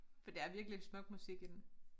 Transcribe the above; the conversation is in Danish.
For det er virkelig smuk musik i den